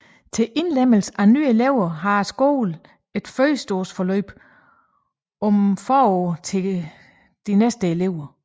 Til indlemmelse af nye elever har skolen et førskoleforløb om foråret til kommende elever